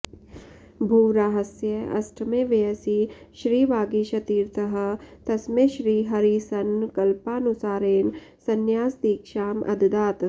भूवराहस्य अष्टमे वयसि श्रीवागीशतीर्थः तस्मै श्रीहरिसङ्कल्पानुसारेण सन्यासदीक्षाम् अददात्